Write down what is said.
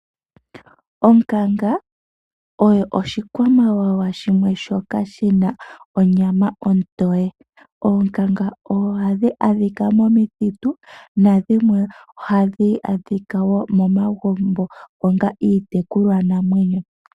Onkanga oyo oshikwamawawa shimwe shoka shina onyama ontoye. Oonkanga ohadhi adhika momithitu, nadhimwe ohadhi adhika momagumbo onga iitekulwanamwenyo.